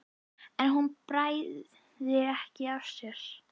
en hún bærði ekki á sér.